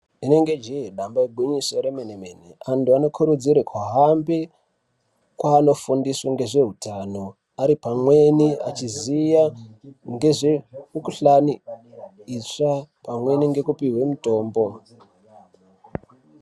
Rinenge jee damba igwinyiso remene-mene. Antu anokurudzirwe kuhambe kwanofundiswe ngezvehutano ane pamweni achiziya ngezvemikuhlani itsva, pamweni ngekupihwa mutombo.